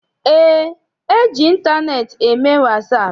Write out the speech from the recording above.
Eé, eji ịntaneetị eme wasaapụ.